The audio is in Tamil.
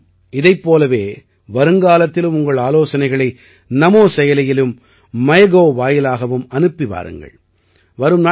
நீங்கள் அனைவரும் இதைப் போலவே வருங்காலத்திலும் உங்கள் ஆலோசனைகளை நமோ செயலியிலும் மைகவ் வாயிலாகவும் அனுப்பி வாருங்கள்